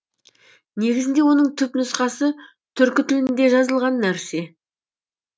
негізінде оның түп нұсқасы түркі тілінде жазылған нәрсе